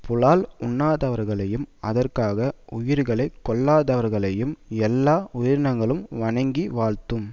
புலால் உண்ணாதவர்களையும் அதற்காக உயிர்களை கொல்லாதவர்களையும் எல்லா உயிரினங்களும் வணங்கி வாழ்த்தும்